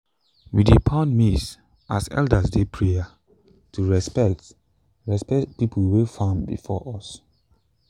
we dey pound maize as elders dey prayer to respect respect people wey farm before us.